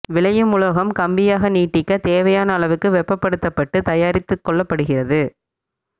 விளையும் உலோகம் கம்பியாக நீட்டிக்கத் தேவையான அளவுக்கு வெப்பப்படுத்தப்பட்டு தயாரித்துக் கொள்ளப்படுகிறது